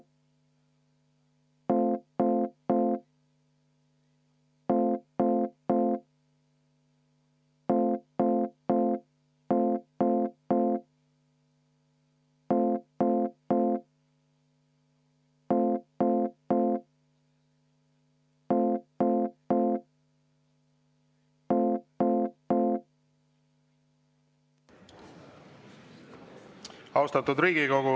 Austatud Riigikogu!